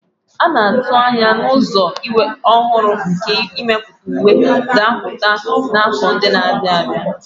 A na-atụ anya na ụzọ ọhụrụ nke imepụta uwe ga-apụta n'afọ ndị na-abịa.